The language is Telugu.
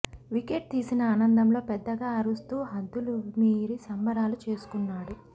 వికెట్ తీసిన ఆనందంలో పెద్దగా అరుస్తూ హద్దులు మీరి సంబరాలు చేసుకున్నాడు